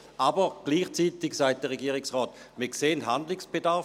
Aber gleichzeitig sagt der Regierungsrat: «Wir sehen Handlungsbedarf.